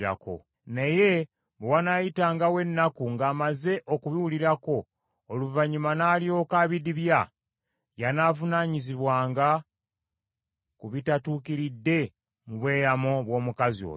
Naye bwe wanaayitangawo ennaku ng’amaze okubiwulirako, oluvannyuma n’alyoka abidibya, y’anaavunaanyizibwanga ku bitatuukiridde mu bweyamo bw’omukazi oyo.”